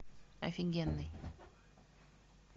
офигенный